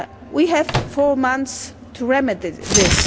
We have four months to remedy this.